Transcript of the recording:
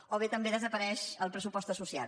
o bé també desapareix el pressupost asso·ciat